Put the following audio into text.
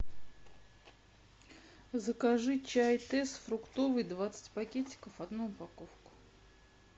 закажи чай тесс фруктовый двадцать пакетиков одну упаковку